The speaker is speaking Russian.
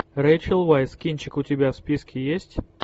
рэйчел вайс кинчик у тебя в списке есть